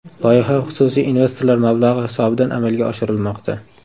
Loyiha xususiy investorlar mablag‘i hisobidan amalga oshirilmoqda.